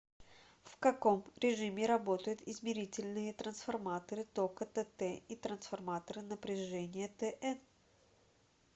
в каком режиме работают измерительные трансформаторы тока тт и трансформаторы напряжения тн